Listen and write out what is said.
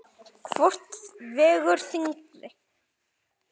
Hvort vegur þyngra?